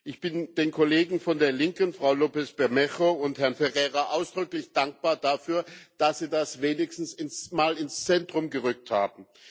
Ich bin den Kollegen von der Linken, Frau López Bermejo und Herrn Ferreira, ausdrücklich dankbar dafür, dass sie das wenigstens mal ins Zentrum gerückt haben.